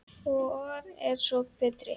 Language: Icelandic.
Hvor er svo betri?